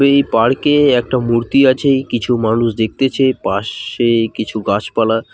এই পার্কে একটা মূর্তি আছে কিছু মানুষ দেখতেছে পাশেই কিছু গাছপালা খু--